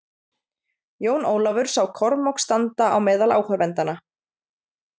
Jón Ólafur sá Kormák standa á meðal áhorfendanna.